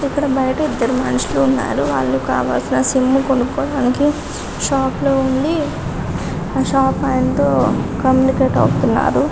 ఇక్కడ బయట ఇద్దరు మనుషులు ఉన్నారు వాళ్ళు కావలసిన సిమ్ము కొనుక్కొని మనకి షాపులో ఉండి షాప్ ఆయనతో కమ్యూనికేట్ అవుతున్నారు.